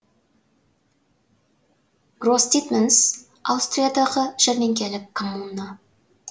гросдитманс аустриядағы жәрменкелік коммуна